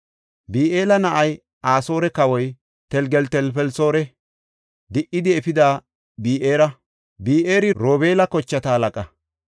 Bi7eela na7ay Asoore kawoy Telgeltelfelisoorii di77idi efida Bi7eera; Bi7eeri Robeela kochata halaqa.